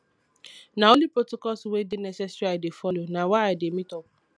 na only protocols wey dey necessary i dey folo na why i dey meet up